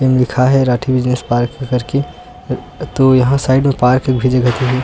M लिखा है Rathi business park कर के। |तो यहाँ साइड में पार्क भी जगह तेह--